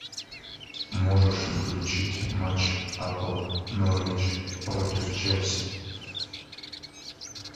можешь включить матч апл норвич против челси